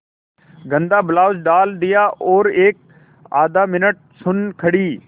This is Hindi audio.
गंदा ब्लाउज डाल दिया और एकआध मिनट सुन्न खड़ी